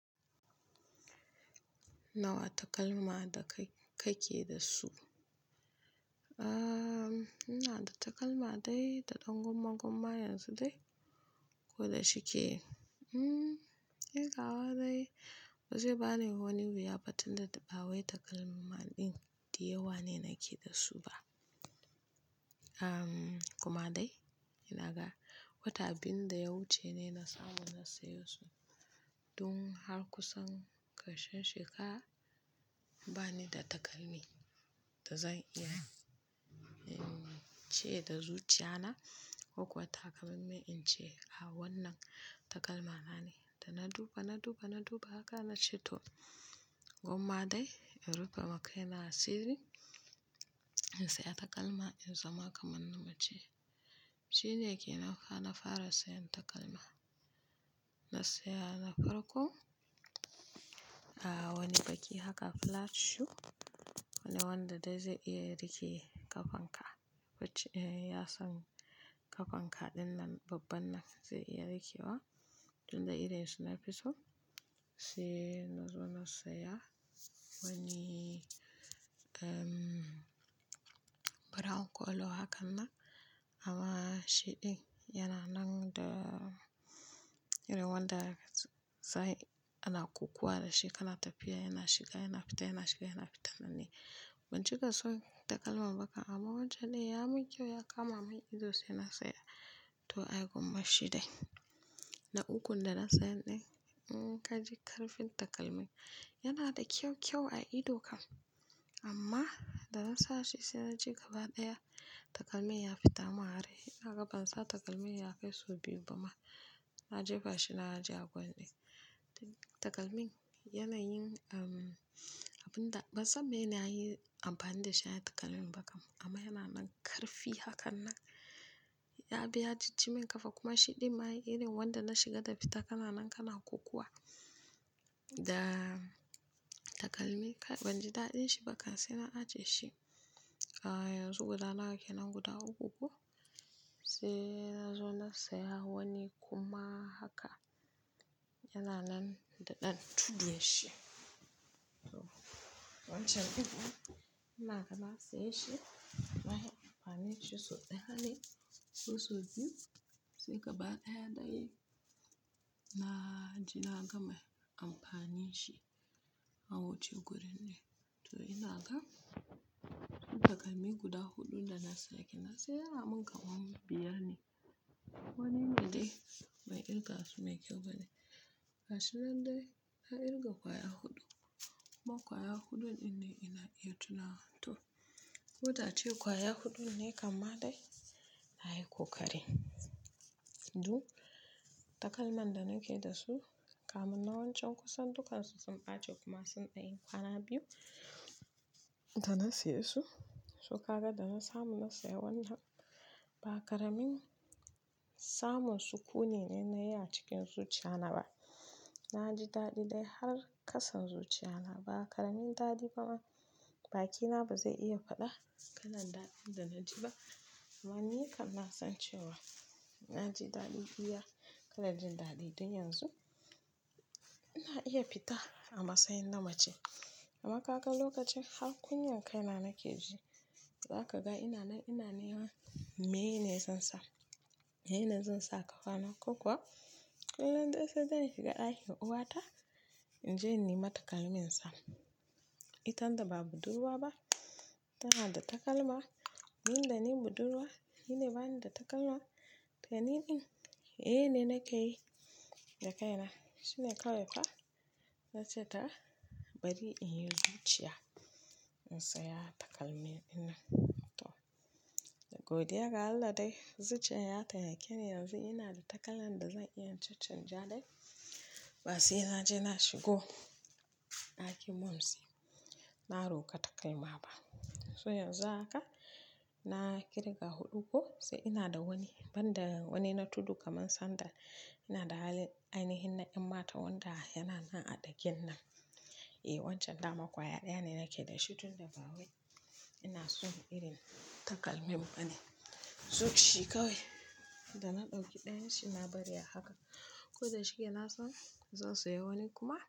Nawa takalma da kai ke da su? Aaa, ina da takalma dai da ɗan gumma-gumma yanzu dai. Ko da shike, hmmm, irgawa dai ba zai bani wani wuya ba tunda ba wai takalma ɗin diyawa ne nake da su ba. Umm, kuma dai ina ga wata biyun da ya wuce ne na samu na saya su don har kusan ƙarshen shekara ba ni da takalmi da zan iya, umm, ce da zuciya na kokuwa wata kamar me in ce a wannan takalma na ne. Da na duba, na duba, na duba haka na ce to gwamma dai in rufe makaina a siri in saya takalma in zama kamar na mace. Shi ne ke nanfa haka na fara sayan takalma. Na saya na farko, ah wani baki haka flat shoe wanda wanda dai zai iya rike ƙafanka. Wacce, eh, yasan ƙafanka dinnan babban nan zai iya rike wa tun da irinshi na fiso. Sai na zo na saya wani, umm, brown colour haka nan. Amma shiɗin yana nan da irin wanda sai ana kokowa da shi kana tafiya yana shiga yana fita, yana shiga yana fita nan ne. Ban cika so takalman ba ka amma wancen dai ya mun kyau ya kama mun ido sai na saya. To ai gwammashi dai. Na ukun da na saya ɗin, umm, ka ji karfin takalmin yana da kyau-kyau a idokan. Amma da na sa shi sai na je gaba ɗaya takalmin ya fitan arai. Ina gabansa takalmin ya kai so biyu ba ma na jefa shi na aji a gwan ɗin. Da takalmin yana yin, umm, abun da bansan mai nayi amfani da shin haka takalmin ba kam. Amma yana nan karfi haka nan. Ya biya jijjimen ƙafa kuma shiɗin ma irin wanda na shiga da fita kana nan kana kukuwa. Da takalmi banji daɗin shi ba kan sai na ajiye shi. A yanzu guda nawa ke nan guda uku ko sai na zo na saya wani kuma haka yana nan da ɗan tudun shi. To wancan kuma ina ga na saye shi na yi amfani da shi sau ɗaya ne. Ko sau biyu sai gaba ɗaya dai na ji na gama amfani shi a wuce gurin ne. To ina ga takalmi guda huɗu da na saya kenan saya a mun ga wani biyar ne. Wannan dai ban kirga su mai kyau ba ne. Gashinan dai na kirga kwaya huɗu kuma kwaya huɗun ɗin ne ina iya tuna. To, ko da ace kwaya huɗu ne kam ma dai na yi kokari. Duk takalman da nake da su, kam na wancan kusan dukan su sun ɓace kuma sun ɗai kwana biyu da na saya su. To ka ga da na samu na saya wannan ba ƙaramin samun sukuni ne na yi a cikin zuciya na ba. Na ji daɗi dai har kasan zuciya na ba ƙaramin daɗi ba ma bakina ba zai iya faɗa kalan daɗin da na ji ba. Amma ni kan na san cewa na ji daɗi iya kalan jin daɗi tun yanzu. Ina iya fita amma sai na mace. Amma ka ga lokacin har kunyan kaina nake ji, za ka ga ina nan ina neman meye ne zan sa. Me yene zan sa kafana ko kuwa kullun dai sai dai in shiga ɗakin uwata in je in nema takalmi insa. Itanda ba budurwa ba tana da takalma. Tind da ni budurwa ni ne bani da takalma. To niɗin, meye, ne na ke yi da kaina. Shi ne kawai fa na ce ta bari in yi zuciya in saya takalmi ɗinan. To, da godiyar Allah dai zuciyar ya temake. Yanzu ina da takalan da zan iya caccan ja dai ba sai na je na shigo ɗakin mumsy. Na roƙa takalma ba. To hyanzu haka na kirga huɗu ko sai ina da wani banda wani na tudu kamar sandal. Ina da ainihin na yan mata wanda yana nan a ɗakin nan. Eh wancan dama kwaya ɗaya ne nake da shi tunda ba wai ina so irin takalmin ba ne. Zuciya kawai da na ɗauki ɗayan shi na bari a haka. Ko da shike na san zan saya wani kuma.